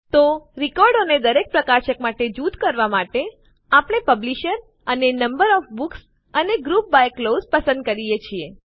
તો રેકોર્ડો ને દરેક પ્રકાશક માટે જૂથ માં કરવા માટે આપણે પબ્લિશર અને નંબર ઓએફ બુક્સ અને ગ્રુપ બાય ક્લોઝ પસંદ કરીએ છીએ